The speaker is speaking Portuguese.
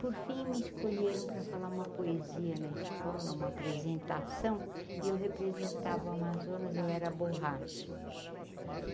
Por fim, me escolheram para falar uma poesia na escola, uma apresentação, e eu representava o Amazonas, eu era a borracha.